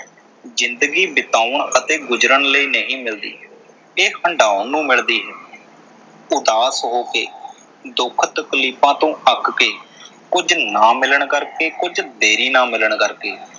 ਜਿੰਦਗੀ ਬਿਤਾਉਣ ਅਤੇ ਗੁਜ਼ਰਨ ਲਈ ਨਹੀਂ ਮਿਲਦੀ। ਇਹ ਹੰਢਾਉਣ ਨੂੰ ਮਿਲਦੀ ਹੈ ਇਹ ਉਦਾਸ ਹੋ ਕੇ, ਦੁੱਖ ਤਕਲੀਫ਼ਾਂ ਤੋਂ ਅੱਕ ਕੇ, ਕੁਝ ਨਾ ਮਿਲਣ ਕਰਕੇ, ਕੁਝ ਦੇਰੀ ਨਾਲ ਮਿਲਣ ਕਰਕੇ।